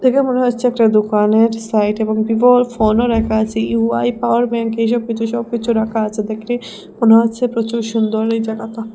দেখে মনে হচ্ছে একটা দোকানের সাইট এবং ভিভোর ফোনও রাখা আছে ইউ_আই পাওয়ার ব্যাঙ্ক এইসব কিছু সবকিছু রাখা আছে দেখলে মনে হচ্ছে প্রচুর সুন্দর এই জাগাতা ।